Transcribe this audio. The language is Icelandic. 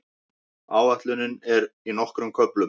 Áætlunin er í nokkrum köflum.